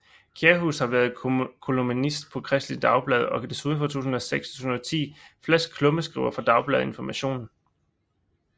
Kjærhus har været kolumnist på Kristeligt Dagblad og desuden fra 2006 til 2010 fast klummeskriver for Dagbladet Information